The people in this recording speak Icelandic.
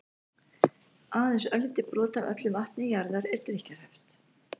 aðeins örlítið brot af öllu vatni jarðar er drykkjarhæft